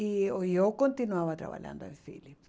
E eu eu continuava trabalhando em Philips.